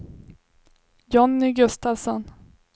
Jonny Gustavsson